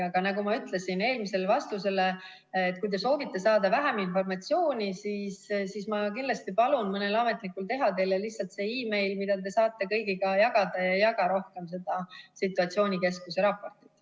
Aga nagu ma ütlesin eelmisele küsimusele vastates, et kui te soovite saada vähem informatsiooni, siis ma kindlasti palun mõnel ametnikul teha teile lihtsalt see meil, mida te saate kõigiga jagada, ja ei jaga rohkem seda situatsioonikeskuse raportit.